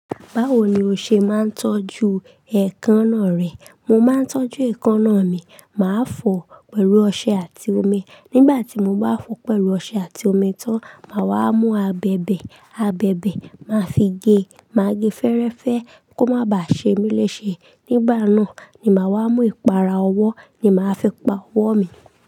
Báwo ni o ṣe máa ń tọ́jú ẹ̀kánná rẹ? Mo máa ń tọ́jú èékánná mi, màá fọ̀ ọ́ pẹ̀lú ọṣẹ àti omi. Nígbà tí mo bá fọ̀ ọ́ pẹ̀lú ọṣẹ àti omi tán, màá wá mú abẹ̀bẹ̀. Abẹ̀bẹ̀ ma fi gé. Màá gé fẹ́rẹ́fẹ́ kó má bàá ṣe mí léṣe. Nígbà náà ni màá wá mú ìpara ọwọ́ ni màá fi pa ọwọ́ mi.